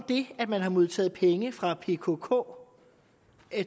det at man har modtaget penge fra pkk